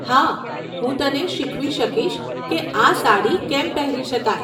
હા, હું તને શીખવી શકીશ કે આ સાડી કેમ પહેરી શકાય.